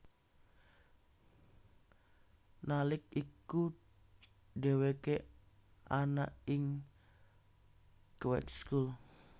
Nalik iku dheweke ana ing Kweekschool